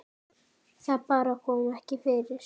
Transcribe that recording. Það bara kom ekki fyrir.